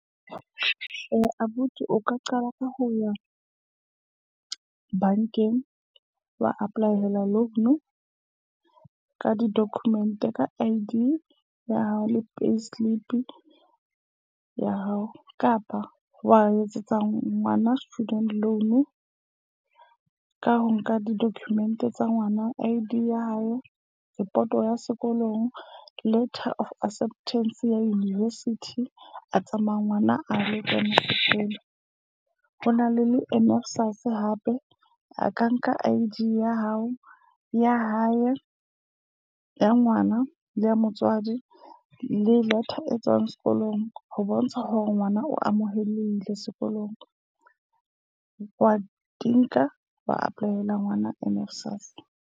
Eh abuti, o ka qala ka ho ya bankeng. Wa apply-ela loan ka di-document, ka I_D ya hao le payslip ya hao. Kapa wa etsetsa ngwana student loan ka ho nka di-document tsa ngwana. I_Dya hae, report ya sekolong, letter of acceptance ya university. A tsamaya ngwana a lo kena sekolo. Ho na le emphasise hape. A ka nka I_D ya hao ya hae, ya ngwana le ya motswadi le letter e tswang sekolong ho bontsha hore ngwana o amohelehile sekolong. Wa di nka wa apply-ela ngwana .